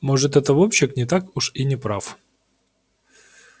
может этот вовчик не так уж и не прав